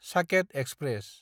Saket express